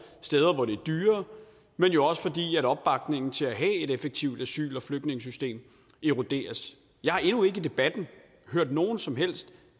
steder hvor det er dyrere men jo også fordi opbakningen til at have et effektivt asyl og flygtningesystem eroderes jeg har endnu ikke i debatten hørt nogen som helst